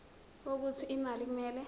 wokuthi imali kumele